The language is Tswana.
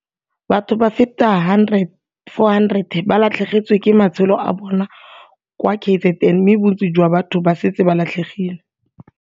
Batho ba feta 400 ba latlhegetswe ke matshelo a bona kwa KZN mme bontsi jwa batho ba santse ba latlhegile.